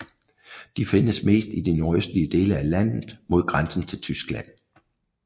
De findes mest i de nordøstlige dele af landet mod grænsen til Tyskland